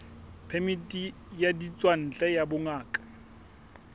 phemiti ya ditswantle ya bongaka